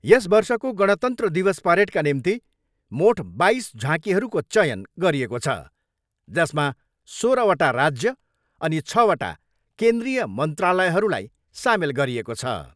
यस वर्षको गणतन्त्र दिवस परेडका निम्ति मोठ बाइस झाँकीहरूको चयन गरिएको छ जसमा सोह्रवटा राज्य अनि छवटा केन्द्रीय मन्त्रालयहरूलाई सामेल गरिएको छ।